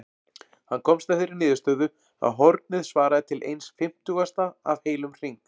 Hann komst að þeirri niðurstöðu að hornið svaraði til eins fimmtugasta af heilum hring.